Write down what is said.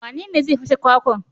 Wanene zai fashe kwakwan?